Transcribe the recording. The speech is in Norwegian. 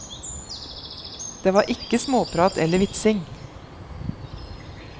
Det var ikke småprat eller vitsing.